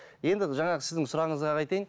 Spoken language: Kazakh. енді жаңағы сіздің сұрағыңызға айтайын